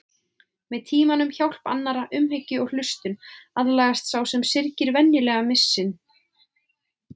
Með tímanum, hjálp annarra, umhyggju og hlustun aðlagast sá sem syrgir venjulega missinum.